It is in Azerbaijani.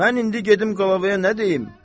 Mən indi gedim qlavaya nə deyim?